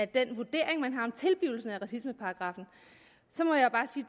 den vurdering man har om tilblivelsen af racismeparagraffen så må jeg bare sige